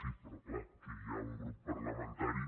sí però clar aquí hi ha un grup parlamentari